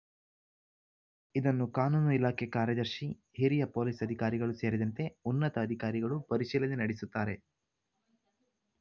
ಇದನ್ನು ಕಾನೂನು ಇಲಾಖೆ ಕಾರ್ಯದರ್ಶಿ ಹಿರಿಯ ಪೊಲೀಸ್‌ ಅಧಿಕಾರಿಗಳು ಸೇರಿದಂತೆ ಉನ್ನತ ಅಧಿಕಾರಿಗಳು ಪರಿಶೀಲನೆ ನಡೆಸುತ್ತಾರೆ